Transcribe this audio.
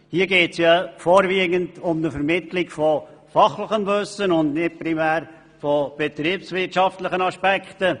Hier geht es vorwiegend um die Vermittlung von fachlichem Wissen, und nicht primär von betriebswirtschaftlichen Aspekten.